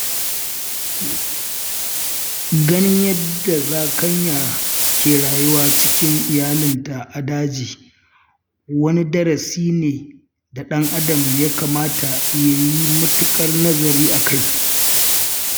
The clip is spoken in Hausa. Ganin yadda zakanya ke rayuwa cikin iyalinta a daji wani darasi ne da ɗan adam ya kamata yayi matuƙar nazari akai.